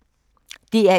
DR1